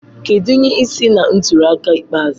Kedu ihe si na ntuli aka ikpeazụ?